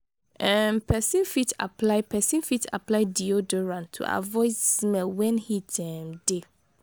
um persin fit apply persin fit apply deoderant to avoid smell when heat um de